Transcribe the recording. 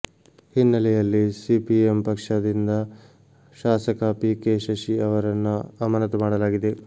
ಹಿನ್ನಲೆಯಲ್ಲಿ ಸಿಪಿಎಂ ಪಕ್ಷದಿಂದ ಶಾಸಕ ಪಿಕೆ ಶಶಿ ಅವರನ್ನ ಅಮಾನತು ಮಾಡಲಾಗಿದೆ